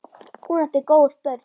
Hún átti góð börn.